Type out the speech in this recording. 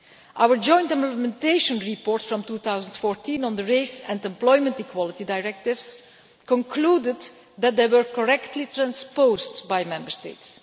Our joint implementation report from 2014 on the Race and Employment Equality Directives concluded that they were correctly transposed by Member States.